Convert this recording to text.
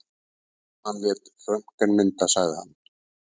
Hann lét röntgenmynda, sagði hann.